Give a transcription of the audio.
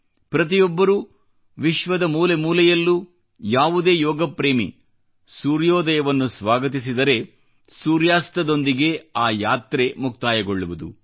ಪ್ರತಿಯೊಬ್ಬರೂ ವಿಶ್ವದ ಮೂಲೆ ಮೂಲೆಯಲ್ಲೂ ಯಾವುದೇ ಯೋಗಪ್ರೇಮಿ ಸೂರ್ಯೋದಯವನ್ನು ಸ್ವಾಗತಿಸಿದರೆ ಸೂರ್ಯಾಸ್ತದೊಂದಿಗೆ ಆ ಯಾತ್ರೆ ಮುಕ್ತಾಯಗೊಳ್ಳುವುದು